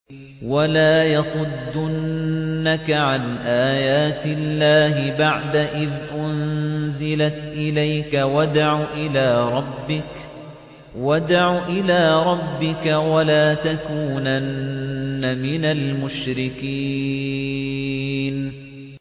وَلَا يَصُدُّنَّكَ عَنْ آيَاتِ اللَّهِ بَعْدَ إِذْ أُنزِلَتْ إِلَيْكَ ۖ وَادْعُ إِلَىٰ رَبِّكَ ۖ وَلَا تَكُونَنَّ مِنَ الْمُشْرِكِينَ